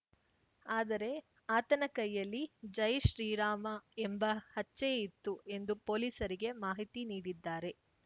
ಆದರೆ ಆತನ ಕೈಯಲ್ಲಿ ಜೈ ಶ್ರೀರಾಮ ಎಂಬ ಹಚ್ಚೆ ಇತ್ತು ಎಂದು ಪೊಲೀಸರಿಗೆ ಮಾಹಿತಿ ನೀಡಿದ್ದಾರೆ